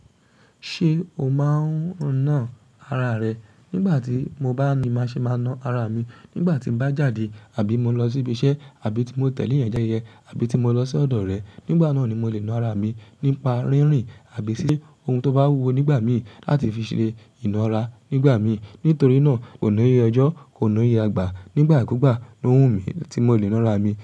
Ṣé o máa ń ná ara rẹ? Nígbà tí mo bá ní má ṣe máa ná ara mi. Nígbà tí m bá jáde àbí mo lọ sí ibi iṣẹ́, àbí tí mo tẹ̀lé yẹn já yẹ, àbí tí mo lọ sí ọ̀dọ̀ rẹ, nígbà náà ni mo lè ná ara mi nípa rínrìn àbí sí ohun tó bá wúwo nígbà mí láti fi ṣe ìnára nígbà mí. Nítorí náà, kò níye ọjọ́, kò níye àgbà. Nígbà kúgbà ló wù mí tí mo lè nára mi.